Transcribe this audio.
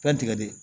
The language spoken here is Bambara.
Fɛn tigɛ de